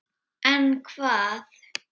En hvað?